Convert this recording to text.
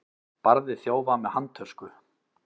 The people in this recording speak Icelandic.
Barði þjófa með handtösku